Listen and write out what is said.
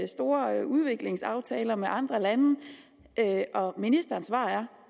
store udviklingsaftaler med andre lande og ministerens svar er